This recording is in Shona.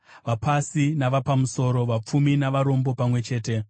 vapasi navapamusoro, vapfumi navarombo pamwe chete.